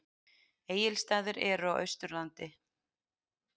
Egilsstaðir eru á Austurlandi.